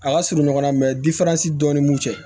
A ka surun ɲɔgɔnna dɔ ni mun cɛ